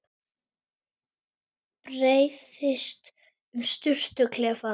Breiðist um sturtuklefann.